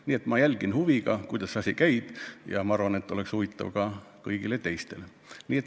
Nii et ma jälgin huviga, kuidas see asi käib, ja arvan, et see on huvitav ka kõigile teistele.